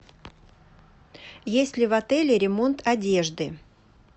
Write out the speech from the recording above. есть ли в отеле ремонт одежды